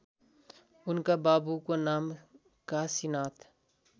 उनका बाबुको नाम काशीनाथ